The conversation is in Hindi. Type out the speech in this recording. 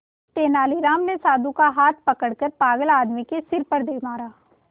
तेनालीराम ने साधु का हाथ पकड़कर पागल आदमी के सिर पर दे मारा